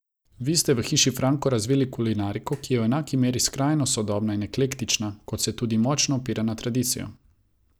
Vi ste v Hiši Franko razvili kulinariko, ki je v enaki meri skrajno sodobna in eklektična, kot se tudi močno opira na tradicijo.